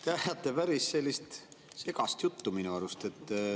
Te ajate päris segast juttu minu arust.